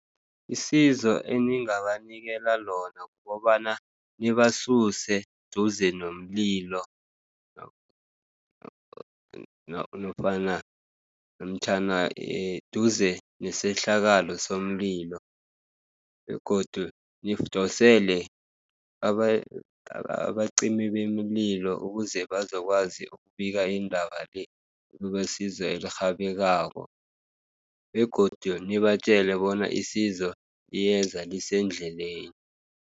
Isizo eningabanikela lona kukobana nibasuse duze nomlilo, namtjhana duze nesehlakalo somlilo, begodu nidosele abacimibemililo ukuze bazokwazi ukubika indaba le, kubesizo elirhabekako, begodu nibatjele bona isizo liyeza lisendleleni.